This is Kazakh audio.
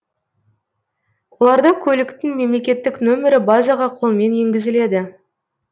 оларда көліктің мемлекеттік нөмірі базаға қолмен енгізіледі